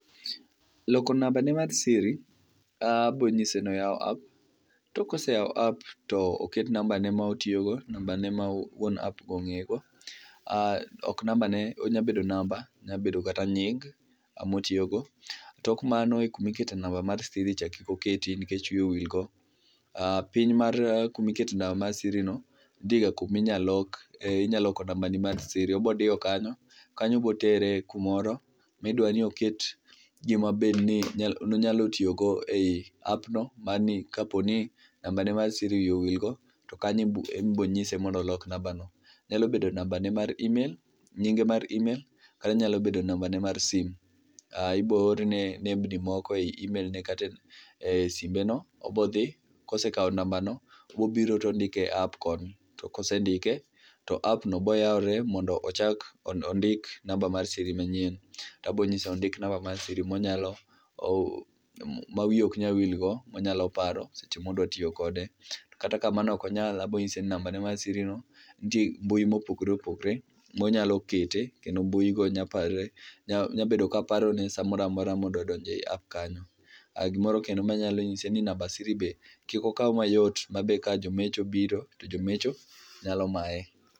Loko nambane mar siri. Abiro nyise ni oyaw app, to ka osewa app to oket nambane ma otiyogo, nabane ma wuon app ong'eyego, ok nambane onyalo bedo namba, onyabedo kata nying motiyogo. Tok mano kuma ikete namba mar siri cha kik oketi nikech wiye owil go. Piny mar kama ikete namba mar siricha, nitiega kuma inyalo lok nambani mar siri, obiro diyo kanyo kanyo bo tere kumoro ma dwa ni oket gimabe onyalo tiyogo e app no makapo ni nambane wiye owilgo to onyalo tiyo gi nambano. Onyalo bedo nambane mar emaim, nyinge mar email kata nyalo bedo nambane mar sim. Ibo orne nembni moko e email kata e simbeno, obo dhi kosekawo nambano obiro to ondike e app koni to kosendiko to app no biro yawore mondo ochak ondik namba mar sir manyien. To abiro nyise ondik namba mar siri ma wiye ok nyal wil go, monyalo paro seche ma odwa tiyo kode. Kata ka mano ok onyal to abiro nyise ni nitie mbui mopogore opogore monyalo kete kendo mbuigo nyalo bedo ka parone samoro amora modonjo e app kanyo. Gima bende anyalo nyise en ni namba mar siri be kik okaw mayot ma be ka jomecho obiro to jomecho nyalo maye